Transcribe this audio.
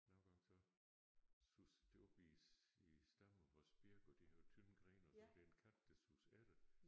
Nogle gange så suser det op i i stammen på vores birk og det har jo tynde grene og så er der en kat der suser efter